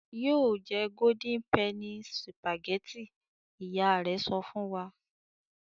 "Yóò jẹ Golden penny sìpàgẹ́tì!" Ìyá rẹ̀ sọ fún wa.